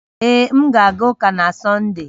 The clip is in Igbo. Ee, m ga-aga ụka na Sọnde